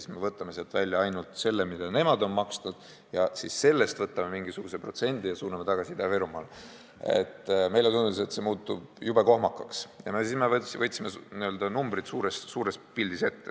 Kui me võtame sealt välja ainult selle, mida nemad on maksnud, ning siis sellest võtame mingisuguse protsendi ja suuname tagasi Ida-Virumaale, siis meile tundus, et see muutub jube kohmakaks, ja siis me võtsime numbrid suures pildis ette.